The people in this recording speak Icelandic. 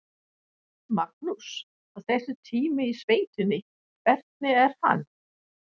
Magnús: Og þessi tími í sveitinni, hvernig er hann?